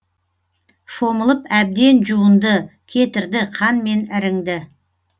шомылып әбден жуынды кетірді қан мен іріңді